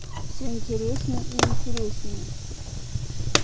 все интереснее и интереснее